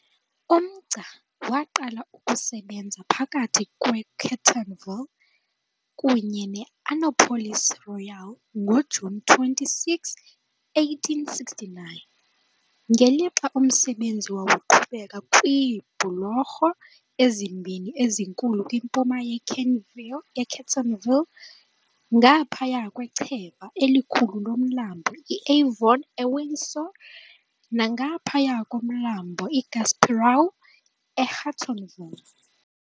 Umgca waqala ukusebenza phakathi kweKentville kunye ne-Annapolis Royal ngoJuni 26, 1869, ngelixa umsebenzi wawuqhubeka kwiibhulorho ezimbini ezinkulu kwimpuma yeKentville ngaphaya kwechweba elikhulu loMlambo iAvon eWindsor nangaphaya koMlambo iGasperau eHortonville .